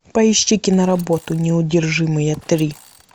поищи киноработу неудержимые три